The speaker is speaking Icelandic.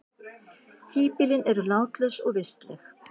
Híbýlin eru látlaus og vistleg.